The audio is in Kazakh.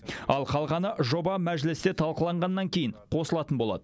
ал қалғаны жоба мәжілісте талқыланғаннан кейін қосылатын болады